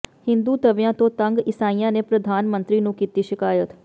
ਹਿੰਦੁਤਵੀਆਂ ਤੋਂ ਤੰਗ ਈਸਾਈਆਂ ਨੇ ਪ੍ਰਧਾਨ ਮੰਤਰੀ ਨੂੰ ਕੀਤੀ ਸ਼ਿਕਾਇਤ